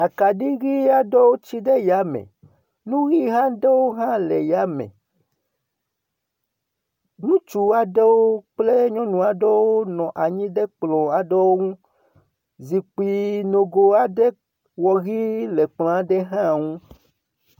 Akaɖi ʋi aɖewo tsi ɖe ya me. Nu ʋi aɖewo hã le ya me. Ŋutsu aɖewo kple nyɔnu aɖewo nua anyi ɖe kplɔ aɖewo ŋu. Zikpui nogo aɖe wɔ ʋi le kplɔ aɖe hã ŋu